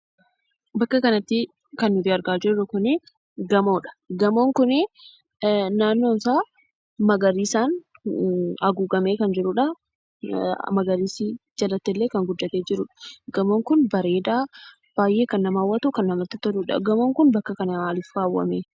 Bakka kanattii, kan nuyi argaa jirru kun, gamoodha. Gamoon kunii, naannoonsaa magariisaan haguugamee, magariisni jalattillee kan guddate jirudha. Gamoon kun, bareeda baay'ee kan nama hawwatuudha. Gamoon kun, bakka kana maaliif kaawwamee?